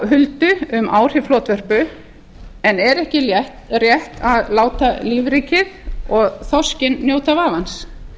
huldu um áhrif flotvörpu en er ekki rétt að láta lífríkið og þorskinn njóta vafans